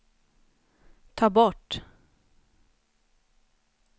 ta bort